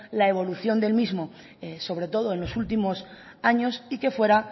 la evolución del mismo sobre todo en los últimos años y que fuera